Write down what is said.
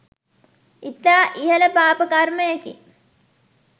ඉතා ඉහල පාප කර්මයකි